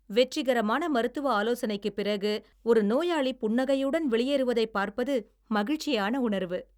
வெற்றிகரமான மருத்துவ ஆலோசனைக்குப் பிறகு ஒரு நோயாளி புன்னகையுடன் வெளியேறுவதைப் பார்ப்பது மகிழ்ச்சியான உணர்வு.